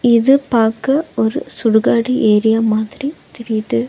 இது பாக்க ஒரு சுடுகாடு ஏரியா மாதிரி தெரியிது.